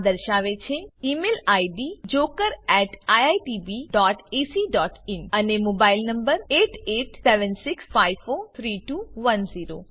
આ દર્શાવે છે ઇમેઇલ id jokeriitbacin અને મોબાઇલ number 8876543210